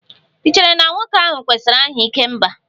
Ì chere na nwoke ahụ kwesịrị aha 'ikemba'?